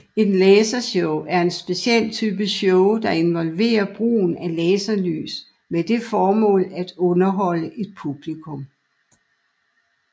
Et lasershow er en speciel type show der involverer brugen af laserlys med det formål at underholde et publikum